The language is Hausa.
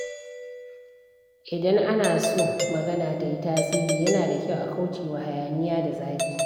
Idan ana so magana ta yi tasiri, yana da kyau a kauce wa hayaniya da zagi.